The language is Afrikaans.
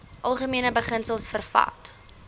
algemene beginsels vervat